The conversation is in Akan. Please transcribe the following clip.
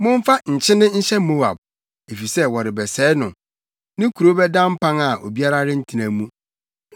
Momfa nkyene nhyɛ Moab, efisɛ wɔrebɛsɛe no; ne nkurow bɛda mpan a obiara rentena mu.